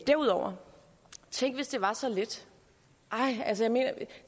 derudover tænk hvis det var så let ej altså